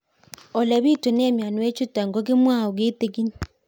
Ole pitune mionwek chutok ko kimwau kitig'ín